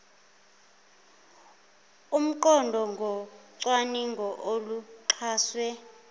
omqondo ngocwaningo oluxhaswe